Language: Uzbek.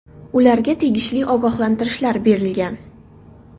Ularga tegishli ogohlantirishlar berilgan.